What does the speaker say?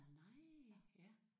Nej ja